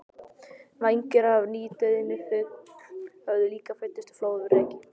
Vængir af nýdauðum fugli höfðu líka fundist flóðreki.